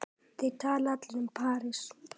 Þeir tala allir um París.